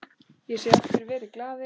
Ég segi aftur: Verið glaðir.